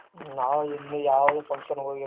ನಾವು ಇನ್ನು ಯಾವ್ದು function ಗ ಹೋಗಿಲ್ಲ ನೋಡ್ರಿ.